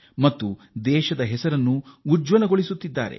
ತಮ್ಮ ಸಾಧನೆಯಿಂದ ನಮ್ಮ ದೇಶಕ್ಕೆ ಶೋಭೆ ತರುತ್ತಿದ್ದಾರೆ